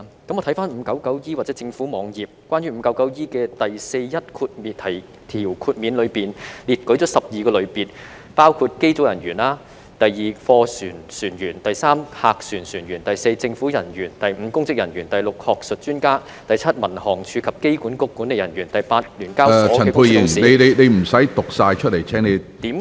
我回看第 599E 章或政府網頁，關於第 599E 章的第41條下的豁免，當中列舉出12個類別，包括機組人員；第二，貨船船員；第三，客船船員；第四，政府人員；第五，公職人員；第六，學術專家；第七，民航處及機管局管理人員；第八，於聯交所上市公司的董事......